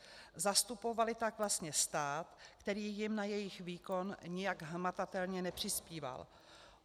Zastupovaly tak vlastně stát, který jim na jejich výkon nijak hmatatelně nepřispíval.